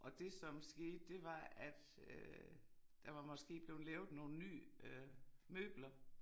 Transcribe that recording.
Og det som skete det var at øh der var måske blevet lavet nogle nye øh møbler